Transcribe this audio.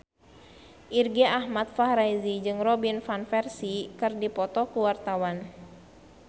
Irgi Ahmad Fahrezi jeung Robin Van Persie keur dipoto ku wartawan